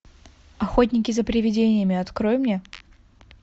охотники за привидениями открой мне